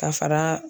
Ka fara